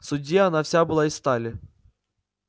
в суде она вся была из стали